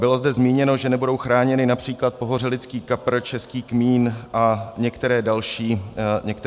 Bylo zde zmíněno, že nebudou chráněny například pohořelický kapr, český kmín a některé další produkty.